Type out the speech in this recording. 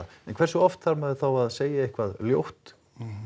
en hversu oft þarf maður þá að segja eitthvað ljótt